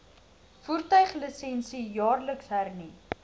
voertuiglisensie jaarliks hernu